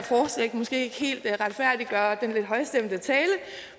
måske ikke helt retfærdiggøre den lidt højstemte tale